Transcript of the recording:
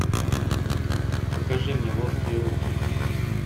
покажи мне ловкие руки